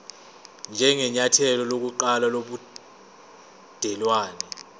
njengenyathelo lokuqala lobudelwane